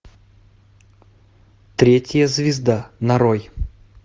третья звезда нарой